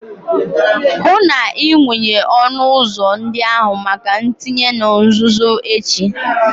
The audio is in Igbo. hụ na ị wụnye ọnụ ụzọ ndị ahụ maka ntinye na nzuzo echi